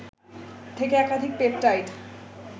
থেকে একাধিক পেপটাইড